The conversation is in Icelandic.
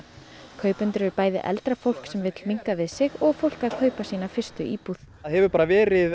kaupendur eru bæði eldra fólk sem vill minnka við sig og fólk að kaupa sína fyrstu íbúð það hefur verið